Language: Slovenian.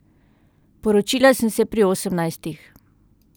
Poročila sem se pri osemnajstih.